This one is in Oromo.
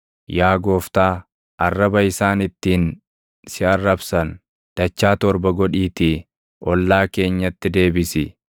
Yaa Gooftaa, arraba isaan ittiin si arrabsan, dachaa torba godhiitii ollaa keenyatti deebisi.